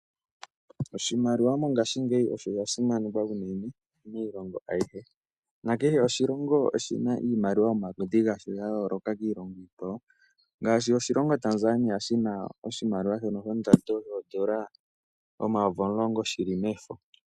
Oshina iimaliwa yomaludhi omayovi omilongo shili mefo.